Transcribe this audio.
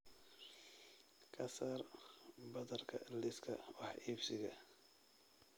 ka saar badarka liiska wax iibsiga